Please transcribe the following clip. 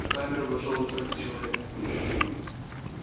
в камеру вошёл высокий человек